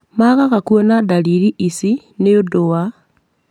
Maagaga kuona ndariri ici nĩũdũ wa;